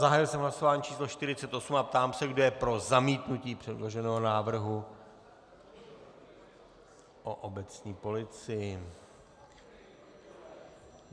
Zahájil jsem hlasování číslo 48 a ptám se, kdo je pro zamítnutí předloženého návrhu o obecní policii.